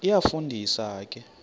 iyafu ndisa ke